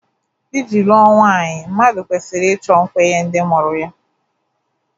Iji lụọ nwanyị, mmadụ kwesịrị ịchọ nkwenye ndị mụrụ ya